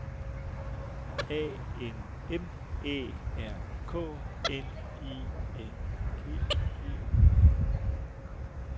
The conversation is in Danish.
A N M Æ R K N I N G E R